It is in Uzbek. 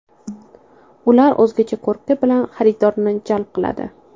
Ular o‘zgacha ko‘rki bilan xaridorlarni jalb qiladi.